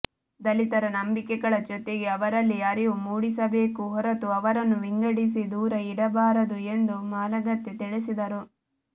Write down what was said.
ದಲಿತರ ನಂಬಿಕೆಗಳ ಜೊತೆಗೆ ಅವರಲ್ಲಿ ಅರಿವು ಮೂಡಿಸಬೇಕು ಹೊರತು ಅವರನ್ನು ವಿಂಗಡಿಸಿ ದೂರ ಇಡಬಾರದು ಎಂದು ಮಾಲಗತ್ತಿ ತಿಳಿಸಿದರು